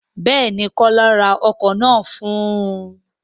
Béèni, kola ra ọkọ̀ náà fún un